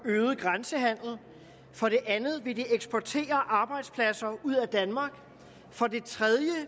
øget grænsehandel for det andet vil det eksportere arbejdspladser ud af danmark for det tredje